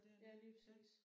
Ja lige præcis